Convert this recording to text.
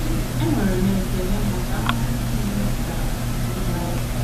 Enwere m ekele maka ahụhụ nile ị tara iji kpaa ya.